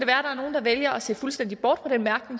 der er nogle der vælger at se fuldstændig bort